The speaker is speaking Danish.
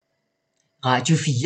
Radio 4